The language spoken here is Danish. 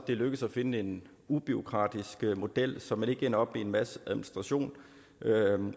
det er lykkedes at finde en ubureaukratisk model så man ikke ender med en masse administration